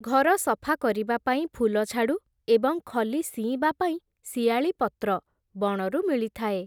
ଘର ସଫା କରିବା ପାଇଁ ଫୁଲଝାଡ଼ୁ, ଏବଂ ଖଲି ସିଇଁବା ପାଇଁ ଶିଆଳି ପତ୍ର, ବଣରୁ ମିଳିଥାଏ ।